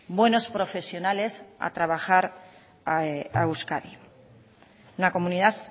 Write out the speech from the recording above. buenos profesionales a trabajar a euskadi una comunidad